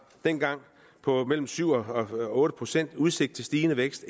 dengang på mellem syv og otte procent udsigt til stigende vækst